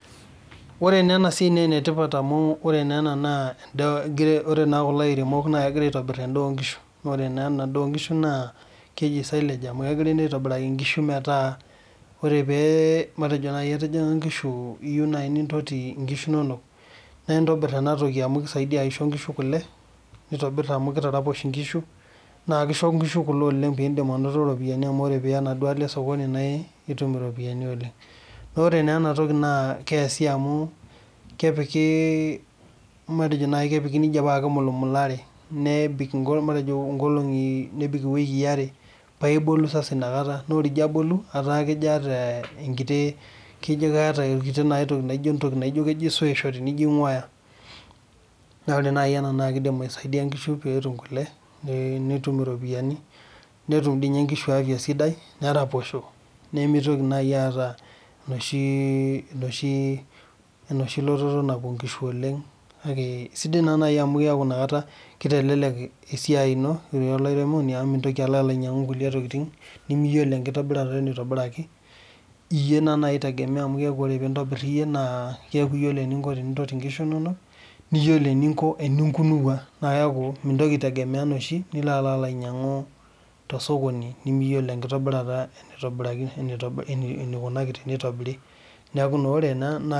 This work is important because these farmers are preparing animals feed's and this animal feed's is called silage because they are making it for cows and it gives your cows much milk and also broaden them so that you can get money because when you sell your milk you get money this thing is being prepared by putting it in bags then left for some days like two weeks and after that it has a sour taste and it will help cows to get milk and money and also helps your work as a farmer because the cows cannot travel long again and also helps you when you make on yourself.